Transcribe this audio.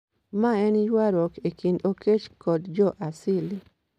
Mae en ywarruok e kind Okech kod jo Asili